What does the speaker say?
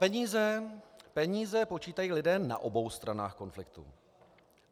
Peníze počítají lidé na obou stranách konfliktu.